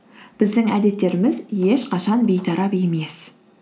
біздің әдеттеріміз ешқашан бейтарап емес